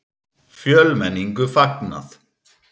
Fjölmenningu fagnað